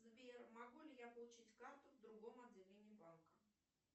сбер могу ли я получить карту в другом отделении банка